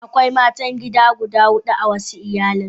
Akwai matan gida guda hudu a wasu iyalan.